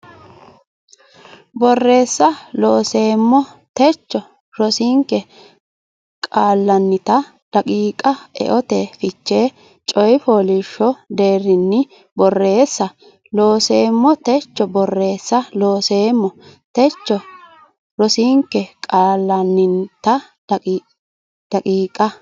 Borreessa Looseemmo techo rosinke qaallannita daqiiqa eote fiche coy fooliishsho deerrinni Borreessa Looseemmo techo Borreessa Looseemmo techo rosinke qaallannita daqiiqa.